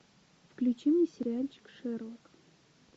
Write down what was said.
включи мне сериальчик шерлок